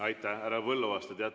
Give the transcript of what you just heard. Aitäh, härra Põlluaas!